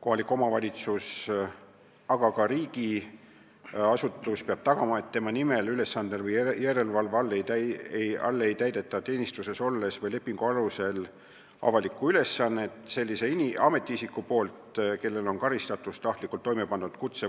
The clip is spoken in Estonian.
Kohalik omavalitsus, aga ka riigiasutus peab tagama, et tema nimel, ülesandel või järelevalve all ei täida teenistuses olles või lepingu alusel avalikku ülesannet ametiisik, kellel on karistatus tahtlikult toime pandud kutse-